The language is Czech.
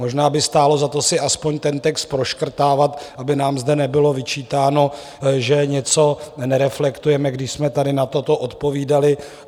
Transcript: Možná by stálo za to si aspoň ten text proškrtávat, aby nám zde nebylo vyčítáno, že něco nereflektujeme, když jsme tady na toto odpovídali.